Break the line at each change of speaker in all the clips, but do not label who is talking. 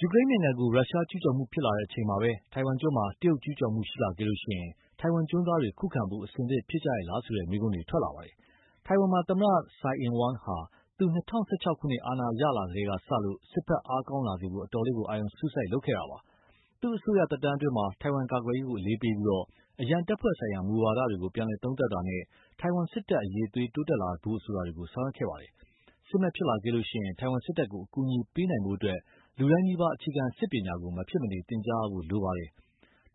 ယူကရိန်းနိုင်ငံကို ရုရှားကျူးကျော်လာချိန်မှာပဲ ထိုင်ဝမ်ကျွန်းမှာ တရုတ် ကျူးကျော်လာခဲ့ရင် ထိုင်ဝမ်ကျွန်းသားတွေ ခုခံဖို့ အဆင်သင့်ဖြစ်ကြရဲ့လားဆိုတဲ့ မေးခွန်းတွေ ထွက်လာပါတယ်။ ထိုင်ဝမ်မှာ သမ္မတ Tsai Ing-wen ဟာ သူ ၂၀၁၆ ခုနှစ် အာဏာရလာကတည်းကစလို့ စစ်ဘက်အားကောင်းလာစေဖို့ အတော်လေးအာရုံစိုက်လာခဲ့တာပါ။ သူ့ အစိုးရသက်တမ်းအတွင်း ထိုင်ဝမ်ကာကွယ်ရေးကို အလေးပေးပြီး အရံတပ်ဖွဲ့ဆိုင်ရာမူဝါဒတွေကို ပြန်သုံးသပ်တာနဲ့ ထိုင်ဝမ်စစ်တပ် အရည်အသွေးတိုးတက်လာဖို့ဆိုတာတွေ ဆောင်ရွက်ခဲ့ပါတယ်။ စစ်မက်ဖြစ်လာခဲ့ရင် ထိုင်ဝမ်စစ်တပ်ကို အကူအညီပေးနိုင်ဖို့အတွက် လူတိုင်းနီးပါး အခြေခံစစ်ပညာကို မဖြစ်မနေ သင်ကြားရဖို့ လိုပါတယ်။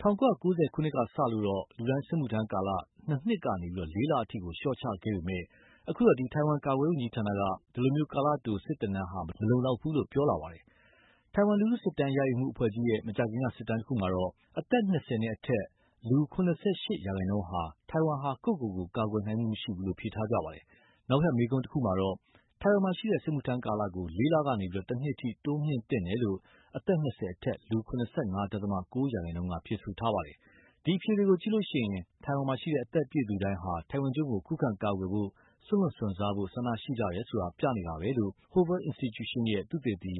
၁၉၉၀ ခုနှစ်ကစလို့တော့ လူတိုင်း စစ်မှုထမ်းကာလ နှစ်နှစ်ကနေ လေးလအထိ လျှော့ချခဲ့ပေမယ့်လို့ အခုတော့ ထိုင်ဝမ်ကာကွယ်ရေးဝန်ကြီးဌာနက ဒီလို ကာလတို စစ်သင်တန်းဟာ မလုံလောက်ဘူးလို့ ပြောလာပါပြီ။ ထိုင်ဝမ်လူထုစစ်တမ်းရယူမှုအဖွဲ့ကြီးရဲ့ မကြာခင်က စစ်တမ်းတခုမှာတော့ အသက် ၂၀ နဲ့အထက် လူ ၇၈ ရာခိုင်နှုန်းဟာ ထိုင်ဝမ်ဟာ ကိုယ့်ကိုယ်ကို ကာကွယ်နိုင်မှုမရှိဘူးလို့ ဖြေထားကြပါတယ်။ နောက်ထပ်မေးခွန်းတခုမှာတော့ ထိုင်ဝမ်မှာရှိတဲ့ စစ်မှုထမ်းကာလကို လေးလကနေ တနှစ်အထိ တိုးမြှင့်သင့်တယ်လို့ အသက် ၂၀ အထက် လူ ၇၅.၉ ရာခိုင်နှုန်းက ဖြေဆိုထားပါတယ်။ ဒီအဖြေတွေကိုကြည့်ရင် ထိုင်ဝမ်မှာရှိတဲ့ အသက်ပြည့်သူတိုင်းဟာ ထိုင်ဝမ်ကျွန်းကို ခုခံကာကွယ်ဖို့၊ စွန့်လွှတ် စွန့်စားဖို့ ဆန္ဒရှိကြတယ်ဆိုတာ ပြနေတာပဲလို့ Hoover Institution ရဲ့ သုတေသီ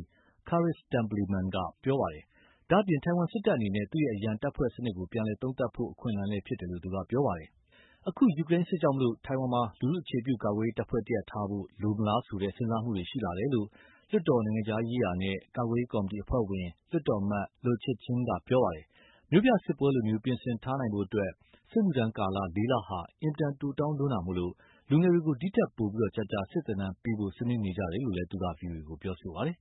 Kharis Templeman က ပြောပါတယ်။ ဒါ့အပြင် ထိုင်ဝမ်စစ်တပ်အနေနဲ့ သူ့ရဲ့ အရံတပ်ဖွဲ့စနစ်ကို ပြန်လည်သုံးသပ်ဖို့ အခွင့်အလမ်းလည်းဖြစ်တယ်လို့ သူက ပြောပါတယ်။ အခု ယူကရိန်းစစ်ကြောင့် ထိုင်ဝမ်းမှ လူထုအခြေပြု ကာကွယ်ရေးတပ်ဖွဲ့တရပ်ထားရှိဖို့ လိုအပ်မလားဆိုတဲ့ စဉ်းစားမှုတွေရှိလာတယ်လို့ လွှတ်တော် နိုင်ငံခြားရေးနဲ့ကာကွယ်ရေးကော်မတီအဖွဲ့ဝင် လွှတ်တော်အမတ် Lo Chih-cheng က ပြောပါတယ်။ မြို့ပြစစ်ပွဲလို ပြင်ဆင်ထားနိုင်ဖို့အတွက် စစ်မှုထမ်းကာလ လေးလဟာ အင်မတန်တိုတောင်းလိုတာကြောင့် လူငယ်တွေကို ဒီထက်ပိုကြာကြာ စစ်သင်တန်းပေးဖို့ ဆွေးနွေးနေကြတယ်လို့ သူက VOA ကို ပြောပါတယ်